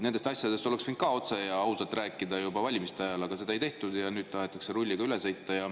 Nendest asjadest oleks võinud ka otse ja ausalt rääkida juba valimiste ajal, aga seda ei tehtud ja nüüd tahetakse rulliga üle sõita.